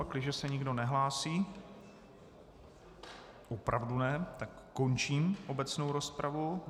Pakliže se nikdo nehlásí, opravdu ne, tak končím obecnou rozpravu.